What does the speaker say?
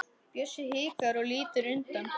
Bjössi hikar og lítur undan.